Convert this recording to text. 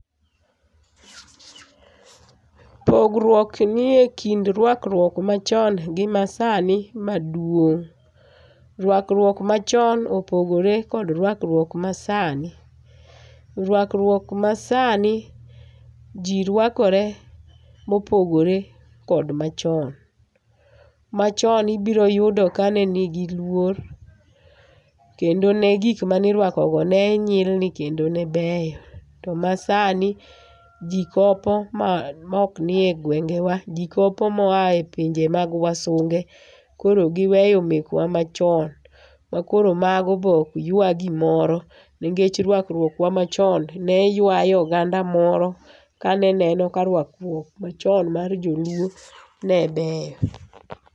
Pogruok nie kind ruakruok machon gi masani maduong'. Ruakruok machon opogore kod ruakruok masani. Ruakruok masani ji ruakore mopogore kod machon. Machon ibiro yudo kane nigi luor kendo gik mane iruakogo ne nyilni kendo ne beyo to masani ji kopo maok nie gwengewa. Ji kopo moa e pinje mag wasunge koro giweyo mekwa machon makoro mage be ok ywa gimoro nikech ruakruok wa machon ne ywayo oganda moro kane neno ka ruakruok wa machon mag joluo ne ber.